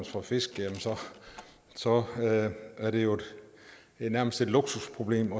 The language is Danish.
fra fisk jamen så er det jo nærmest et luksusproblem